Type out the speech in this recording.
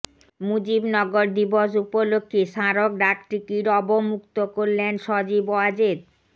মুজিবনগর দিবস উপলক্ষে স্মারক ডাকটিকিট অবমুক্ত করলেন সজীব ওয়াজেদ